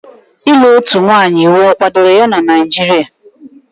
Ịlụ otu nwanyị iwu kwadoro na Naijiria?